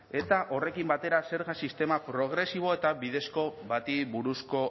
eta horrekin batera zerga sistema progresibo eta bidezko bati buruzko